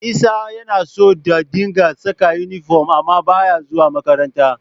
Isa yana so da dinga saka inifom amma ba ya zuwa makaranta